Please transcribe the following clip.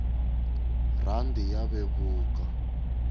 rhandi ya vevuka